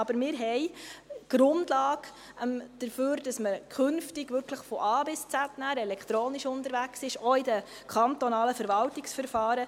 Aber wir haben die Grundlage dafür, dass man künftig wirklich von A bis Z elektronisch unterwegs sein wird, auch in den kantonalen Verwaltungsverfahren.